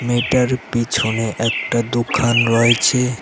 এটার পিছনে একটা দোকান রয়েছে।